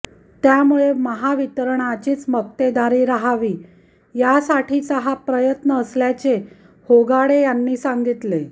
त्यामुळे महावितरणचीच मक्तेदारी रहावी यासाठीचा हा प्रयत्न असल्याचे होगाडे यांनी सांगितले